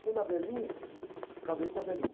Fui na, acabei com a.